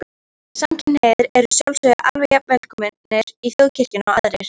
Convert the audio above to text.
Samkynhneigðir eru að sjálfsögðu jafn velkomnir í Þjóðkirkjuna og aðrir.